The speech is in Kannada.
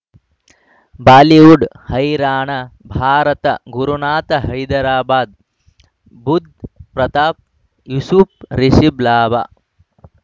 ಬಾಲಿವುಡ್ ಹೈರಾಣ ಭಾರತ ಗುರುನಾಥ ಹೈದರಾಬಾದ್ ಬುಧ್ ಪ್ರತಾಪ್ ಯೂಸುಫ್ ರಿಷಬ್ ಲಾಭ